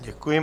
Děkuji.